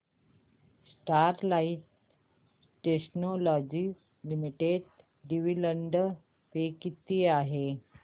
Sterlite Technologies Limited dividend पे किती आहे